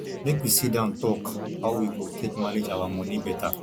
make we sit down tok how we go take manage our moni beta